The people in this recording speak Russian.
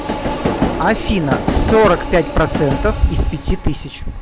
афина сорок пять процентов из пяти тысяч